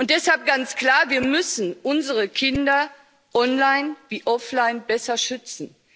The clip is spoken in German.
Deshalb ist ganz klar Wir müssen unsere Kinder online wie offline besser schützen.